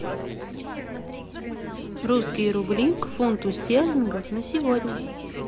русские рубли к фунту стерлингов на сегодня